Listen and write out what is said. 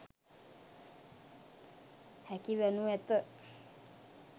හැකි වනු ඇත.